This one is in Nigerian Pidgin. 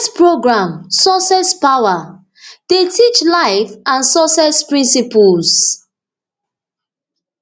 im first programme success power dey teach life and success principles